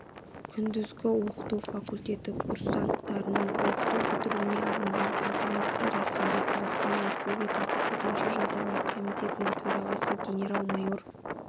күндізгі оқыту факультеті курсанттарының оқу бітіруіне арналған салтанатты рәсімге қазақстан республикасы төтенше жағдайлар комитетінің төрағасы генерал-майор